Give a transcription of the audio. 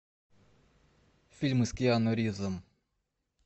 фильмы с киану ривзом